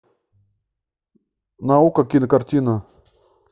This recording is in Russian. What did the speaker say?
наука кинокартина